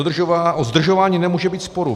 O zdržování nemůže být sporu.